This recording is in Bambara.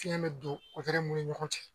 Fiɲɛ bɛ don mun ni ɲɔgɔn cɛ